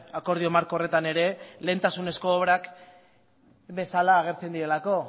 akordio marko horretan ere lehentasunezko obrak bezala agertzen direlako